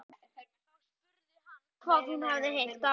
Þá spurði hann hvað hún hefði heyrt af henni.